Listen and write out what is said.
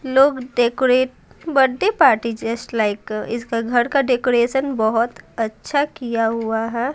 लोग decorate birthday party just like इसका घर का डेकोरेशन बहुत अच्छा किया हुआ है।